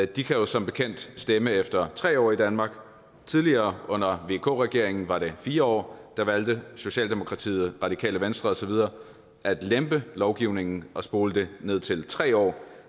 de kan jo som bekendt stemme efter tre år i danmark tidligere under vk regeringen var det fire år der valgte socialdemokratiet radikale venstre og så videre at lempe lovgivningen og spole det ned til tre år